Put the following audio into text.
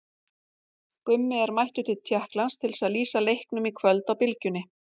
Gummi er mættur til Tékklands til að lýsa leiknum í kvöld á Bylgjunni.